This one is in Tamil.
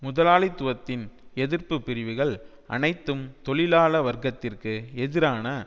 முதலாளித்துவத்தின் எதிர்ப்பு பிரிவுகள் அனைத்தும் தொழிலாள வர்க்கத்திற்கு எதிரான